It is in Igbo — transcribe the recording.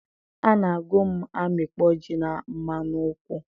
a na-agụ m amịkpọ ji na mmanụ nkwụ